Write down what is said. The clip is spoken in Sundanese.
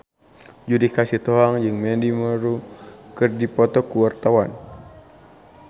Judika Sitohang jeung Mandy Moore keur dipoto ku wartawan